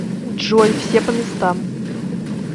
джой все по местам